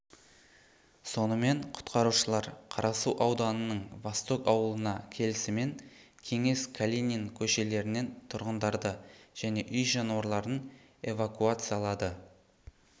сонымен құтқарушылар қарасу ауданының восток ауылына келісімен кеңес калинин көшелерінен тұрғындарды және үй жануарларын эвакуациялады